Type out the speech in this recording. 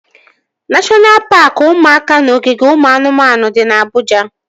Neshọna paaki ụmụaka na ogige ụmụ anụmanụ dị na Abụja